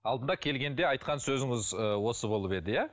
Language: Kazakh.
алдында келгенде айтқан сөзіңіз ыыы осы болып еді иә